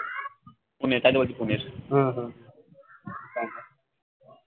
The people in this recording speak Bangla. পুনে তাই তো বলছি পুনে